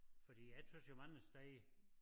Fordi jeg synes jo mange steder